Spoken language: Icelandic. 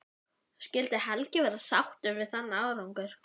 Skyldi Helgi vera sáttur við þann árangur?